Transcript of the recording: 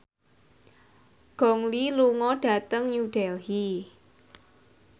Gong Li lunga dhateng New Delhi